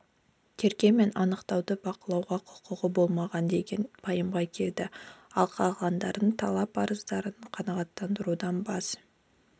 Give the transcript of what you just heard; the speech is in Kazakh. тергеу мен анықтауды бақылауға құқығы болмаған деген пайымға келіп ал қалғандарының талап арыздарын қанағаттандырудан бас